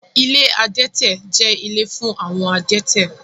Ilé adẹ́tẹ̀ jẹ́ ilé fún àwọn adẹ́tẹ̀